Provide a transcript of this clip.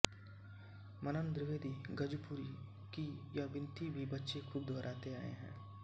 मन्नन द्विवेदी गजपुरी की यह विनती भी बच्चे खूब दोहराते आए हैं